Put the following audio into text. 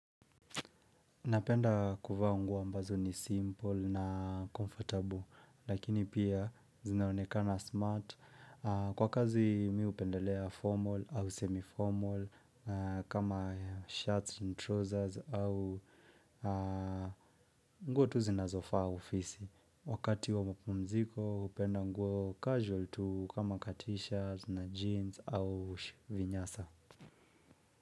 Napenda kuvaa nguo ambazo ni simple na comfortable lakini pia zinaonekana smart. Kwa kazi mi hupendelea formal au semi formal kama shirts and trousers au nguo tu zinazofaa ofisi. Wakati wa mapumziko hupenda nguo casual tu kama t-shirts na jeans au vinyasa.